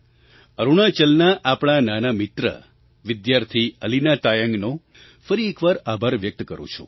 અરુણાચલના આપણા નાના મિત્ર વિદ્યાર્થી અલીના તાયંગનો ફરી એક વાર આભાર વ્યક્ત કરું છું